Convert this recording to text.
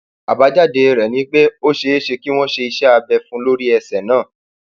àbájáde rẹ ni pé ó ṣeé ṣe kí wọn ṣe iṣẹ abẹ fún un lórí ẹsẹ náà